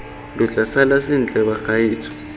lo tla sala sentle bagaetsho